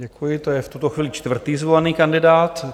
Děkuji, to je v tuto chvíli čtvrtý zvolený kandidát.